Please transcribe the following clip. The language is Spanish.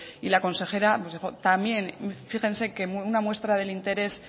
y la consejera también fíjense que una muestra del interés